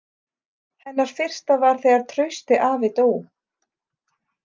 Hennar fyrsta var þegar Trausti afi dó.